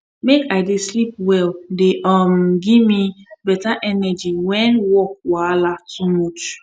make i dey sleep well dey um gimme beta energy even when work wahala too much